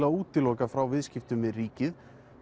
að útiloka frá viðskiptum við ríkið